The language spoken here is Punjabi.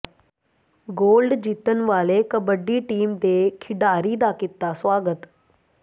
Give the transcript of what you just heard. ਗੋਲਡ ਜਿੱਤਣ ਵਾਲੇ ਕਬੱਡੀ ਟੀਮ ਦੇ ਖਿਡਾਰੀ ਦਾ ਕੀਤਾ ਸਵਾਗਤ